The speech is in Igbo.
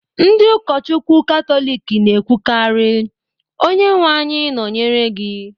Ndị ụkọchukwu Katọlik na-ekwukarị "Onyenwe anyị nọnyere gị"